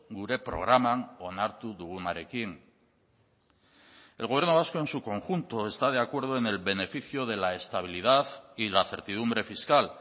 gure programan onartu dugunarekin el gobierno vasco en su conjunto está de acuerdo en el beneficio de la estabilidad y la certidumbre fiscal